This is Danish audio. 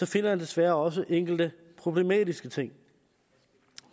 finder jeg desværre også enkelte problematiske ting